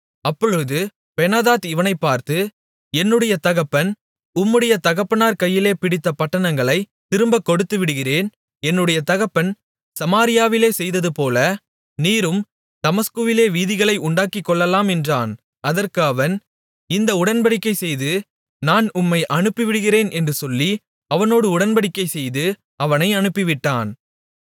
அப்பொழுது பெனாதாத் இவனைப்பார்த்து என்னுடைய தகப்பன் உம்முடைய தகப்பனார் கையிலே பிடித்த பட்டணங்களைத் திரும்பக் கொடுத்துவிடுகிறேன் என்னுடைய தகப்பன் சமாரியாவிலே செய்ததுபோல நீரும் தமஸ்குவிலே வீதிகளை உண்டாக்கிக்கொள்ளலாம் என்றான் அதற்கு அவன் இந்த உடன்படிக்கை செய்து நான் உம்மை அனுப்பிவிடுகிறேன் என்று சொல்லி அவனோடு உடன்படிக்கைசெய்து அவனை அனுப்பிவிட்டான்